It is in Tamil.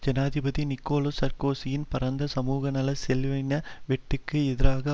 ஜனாதிபதி நிக்கோலா சார்க்கோசியின் பரந்த சமூகநல செலவீன வெட்டுக்கு எதிராக